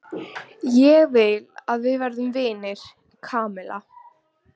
Ég vil að við verðum vinir, Kamilla.